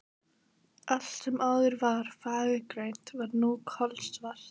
Allt sem áður var fagurgrænt var nú kolsvart.